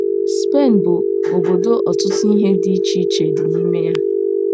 SPEN bụ obodo ọtụtụ ihe dị iche iche dị n’ime ya.